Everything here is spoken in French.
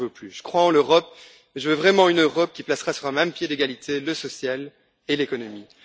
Je crois en l'Europe et je veux vraiment une Europe qui placera sur un même pied d'égalité le social et l'économie.